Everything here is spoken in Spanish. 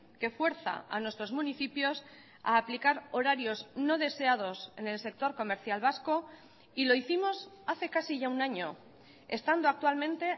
que fuerza a nuestros municipios a aplicar horarios no deseados en el sector comercial vasco y lo hicimos hace casi ya un año estando actualmente